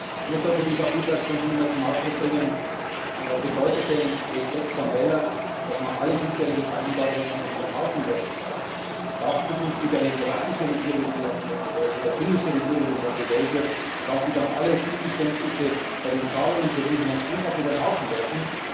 Ich möchte für die EVP Fraktion schon einmal zum Ausdruck bringen Bedeutet denn Respekt vor dem Wähler, dass man alle bisherigen Vereinbarungen einfach über den Haufen werfen darf? Darf zukünftig eine slowakische Regierung, die vielleicht neu gewählt wird, oder eine finnische Regierung, die neu gewählt wird, alle Zugeständnisse bei den Zahlungen für Griechenland einfach über den Haufen werfen?